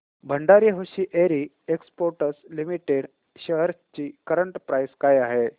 Bhandari hosiery exports limited shares ची current price काय आहे